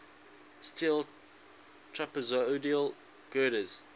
steel trapezoidal girders